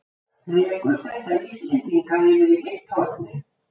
Rekur þetta Íslendinga yfir í hitt hornið?